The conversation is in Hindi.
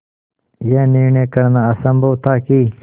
यह निर्णय करना असम्भव था कि